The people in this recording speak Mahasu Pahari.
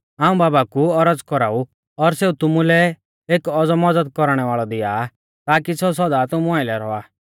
हाऊं बाबा कु औरज़ कौराऊ और सेऊ तुमुलै एक औज़ौ मज़द कौरणै वाल़ौ दिया आ ताकी सेऊ सौदा तुमु आइलै रौआ